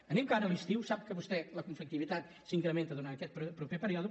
anem de cara a l’estiu sap vostè que la conflictivitat s’incrementa durant aquest proper període